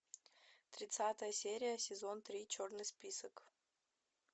тридцатая серия сезон три черный список